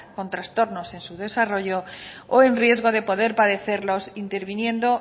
con trastornos en su desarrollo o en riesgo de poder padecerlos interviniendo